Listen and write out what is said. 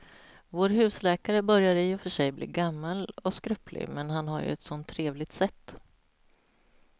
Vår husläkare börjar i och för sig bli gammal och skröplig, men han har ju ett sådant trevligt sätt!